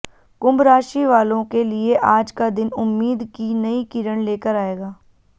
कुम्भ राशि वालों के लिए आज का दिन उम्मीद की नयी किरण लेकर आएगा